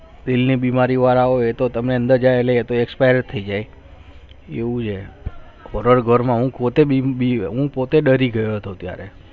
ની બીમારી વાળા હોય તો તમે અંદર જાય એટલે expire થઈ જાય એવું છે ઘરમાં હું પોતે ડરી ગયો હતો ત્યારે